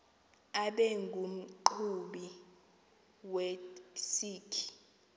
abe ngumqhubi wesikhi